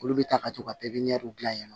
Olu bɛ taa ka to ka pipiniyɛriw dilan yen